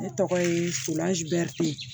Ne tɔgɔ ye surazari